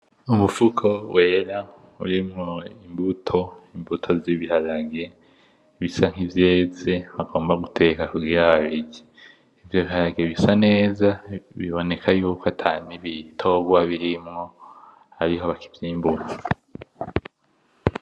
Umufuko wera urimwo imbuto z'ibiharage bisa nk'ivyeze bagomba guteka kugira babirye. Ivyo biharage bisa neza biboneka yuko ata n'ibitorwa birimo ariho bakivyimbura.